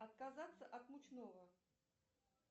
отказаться от мучного